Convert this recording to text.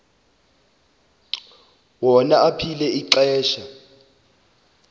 wona aphila kwixesha